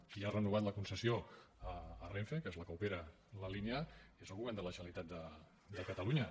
qui ha renovat la concessió a renfe que és la que opera la línia és el govern de la generalitat de catalunya